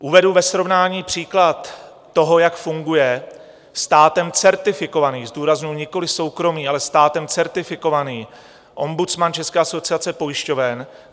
Uvedu ve srovnání příklad toho, jak funguje státem certifikovaný, zdůrazňuji nikoliv soukromý, ale státem certifikovaný ombudsman České asociace pojišťoven.